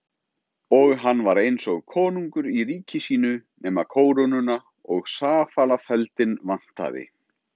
Og hann var eins og konungur í ríki sínu nema kórónuna og safalafeldinn vantaði.